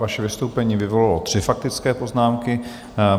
Vaše vystoupení vyvolalo tři faktické poznámky.